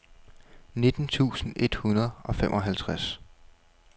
nitten tusind et hundrede og femoghalvtreds